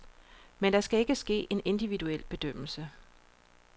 Men der skal ikke ske en individuel bedømmelse.